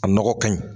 A nɔgɔ kaɲi